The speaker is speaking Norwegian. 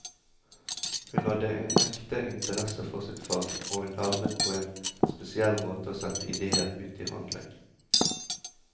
Hun hadde en ekte interesse for sitt fag, og hun evnet på en spesiell måte å sette idéer ut i handling.